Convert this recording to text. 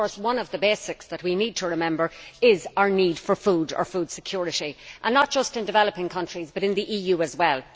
Of course, one of the basics that we need to remember is our need for food or food security, not just in developing countries but in the EU as well.